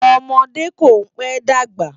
Òmòdé kó n pè dágbá